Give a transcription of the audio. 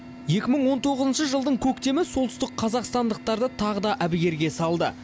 екі мың он тоғызыншы жылдың көктемі солтүстік қазақстандықтарды тағы да әбігерге салды